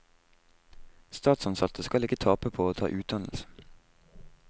Statsansatte skal ikke tape på å ta utdannelse.